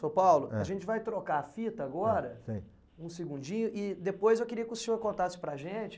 Seu Paulo, ãh, a gente vai trocar a fita agora, sei sei, um segundinho, e depois eu queria que o senhor contasse para a gente.